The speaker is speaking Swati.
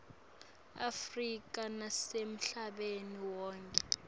afrika nasemhlabeni wonkhe